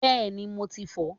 Bẹ́ẹ̀ni mo ti fò ó